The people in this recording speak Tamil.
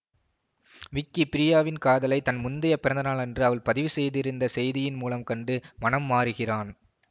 விக்கி பிரியாவின் காதலை தன் முந்தைய பிறந்த நாளன்று அவள் பதிவுசெய்திருந்த செய்தியின் மூலம் கண்டு மனம் மாறுகிறான்